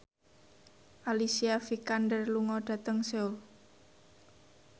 Alicia Vikander lunga dhateng Seoul